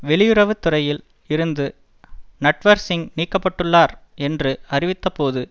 வெளியுறவு துறையில் இருந்து நட்வர் சிங் நீக்கப்பட்டுள்ளார் என்று அறிவித்தபோது